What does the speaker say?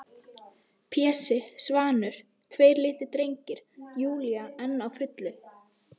Pési, Svanur, tveir litlir drengir- Júlía enn á fullu.